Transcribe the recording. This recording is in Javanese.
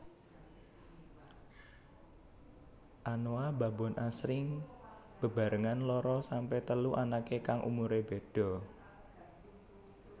Anoa babon asring bebarengan loro sampe telu anake kang umure beda